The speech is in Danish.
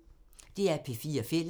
DR P4 Fælles